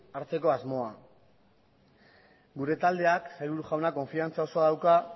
hartzeko asmoa gure taldeak sailburu jauna konfiantza osoa dauka